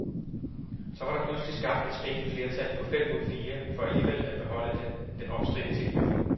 Så var der pludselig skabt et spinkelt flertal på fem mod fire for alligevel at beholde den omstridte tilbygning.